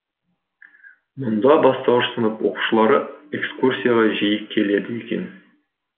мұнда бастауыш сынып оқушылары экскурсияға жиі келеді екен